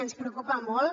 ens preocupa molt